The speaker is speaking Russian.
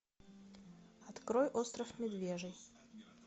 открой остров медвежий